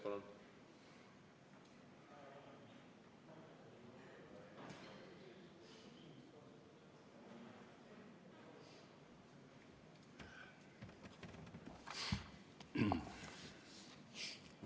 Palun!